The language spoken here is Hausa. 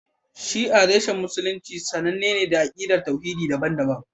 Shi'a reshen Musulunci sananne ne da akidar tauhidi daban-daban